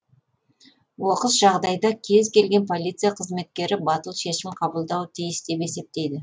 оқыс жағдайда кез келген полиция қызметкері батыл шешім қабылдауы тиіс деп есептейді